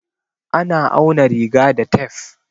A na auna riga da tef.